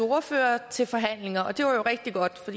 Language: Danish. ordførere til forhandlinger det var jo rigtig godt for